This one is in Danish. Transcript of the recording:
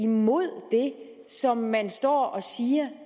mod det som man står og siger